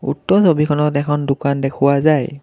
উক্ত ছবিখনত এখন দোকান দেখুওৱা যায়।